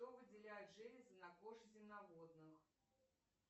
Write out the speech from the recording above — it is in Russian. что выделяют железы на коже земноводных